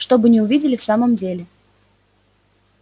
чтобы не увидели в самом деле